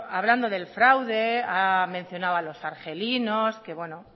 hablando del fraude ha mencionado a los argelinos que bueno